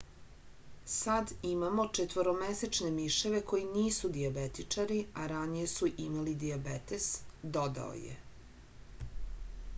sad imamo četvoromesečne miševe koji nisu dijabetičari a ranije su imali dijabetes dodao je